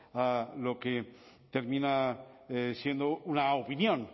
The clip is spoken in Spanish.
a lo que termina siendo una opinión